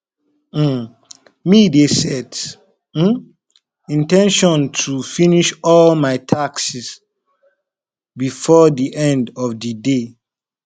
um me dey set um in ten tion to finish all my tasks before di end of di day